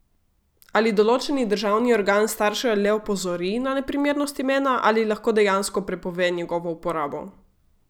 Ali določeni državni organ starše le opozori na neprimernost imena ali lahko dejansko prepove njegovo uporabo?